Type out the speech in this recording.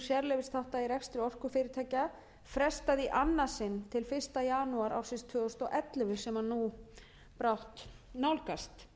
sérleyfisþátta í rekstri orkufyrirtækja frestað í annað sinn til fyrsta janúar ársins tvö þúsund og ellefu sem nú brátt nálgast